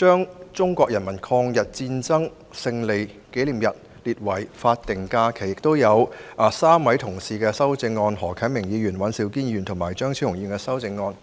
把中國人民抗日戰爭勝利紀念日列為法定假日 "，3 位同事包括何啟明議員、尹兆堅議員和張超雄議員亦提出修正案。